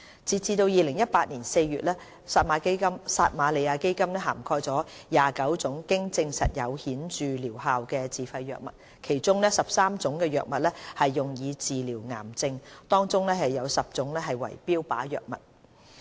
截至2018年4月，撒瑪利亞基金涵蓋了29種經證實有顯著療效的自費藥物，其中13種藥物用以治療癌症，當中有10種為標靶藥物。